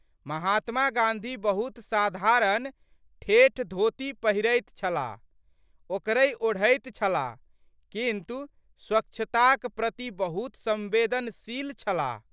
महात्मा गाँधी बहुत साधारण ठेठ धोती पहिरैत छलाह, ओकरहि ओढ़ैत छलाह किन्तु स्वच्छताक प्रति बहुत संवेदनशील छलाह।